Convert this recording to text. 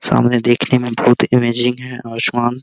सामने देखने में बहुत अमेजिंग है आसमान --